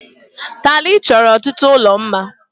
Taịlị chọrọ ọtụtụ ụlọ mma.